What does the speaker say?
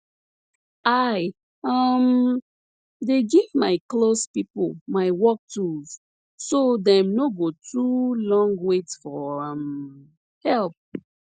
i um dey give my close pipo my work tools so dem no go too long wait for um help